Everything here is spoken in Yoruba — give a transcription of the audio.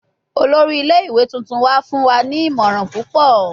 Olori ile-iwe tuntun wa fun wa ni imọran pupọ